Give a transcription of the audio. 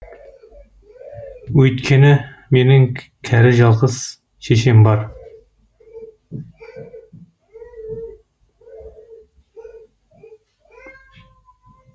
өйткені менің кәрі жалғыз шешем бар